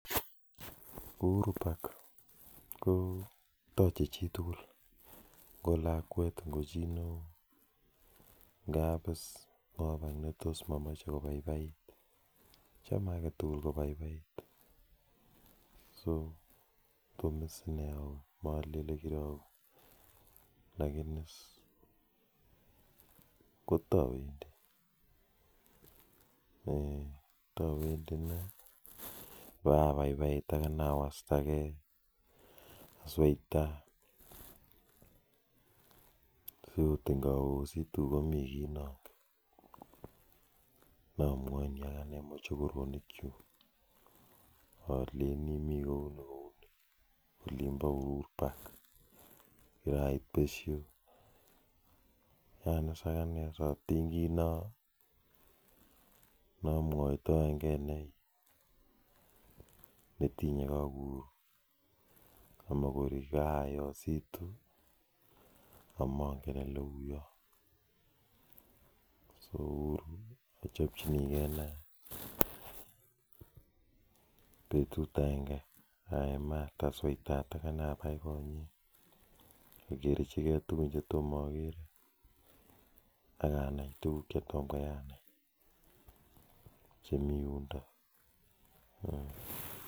Uhuru pack ko taje chitugul chame agetugul kobaibaiit eee tawendii inee pawastagee si angot ngaosituu komii ki angot anee nangen angot akine atiny kiit neamwaitaiee ak nee uhuru achopchinigee betut agengee anai tuguk chetoma agere